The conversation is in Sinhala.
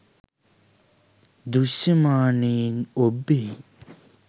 දෘශ්‍යමානයෙන් ඔබ්බෙහි